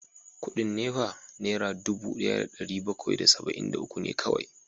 Kudin NEPA Naira dubu daya da dari bakwai da saba’in da uku ne kawai